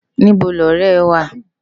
Nibò ni òrè è wá?